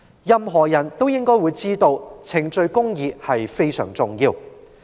任何人都知道，程序公義非常重要。